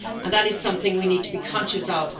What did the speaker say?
That is something we need to be conscious of.